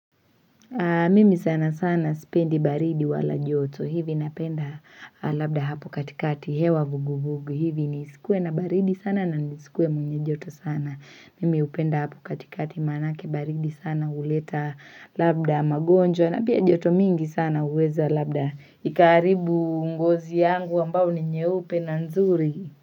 Mimi sana sana sipendi baridi wala joto hivi napenda labda hapo katikati hewa vugu vugu hivi nisikuwe na baridi sana na nisikuwe mwenye joto sana. Mimi hupenda hapo katikati manake baridi sana uleta labda magonjwa na pia joto mingi sana uweza labda ikaharibu ngozi yangu ambao ni nyeupe na nzuri.